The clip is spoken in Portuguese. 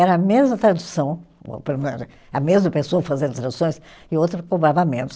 Era a mesma tradução, a mesma pessoa fazendo traduções, e o outro cobrava menos.